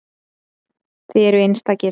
Þið eruð einstakir.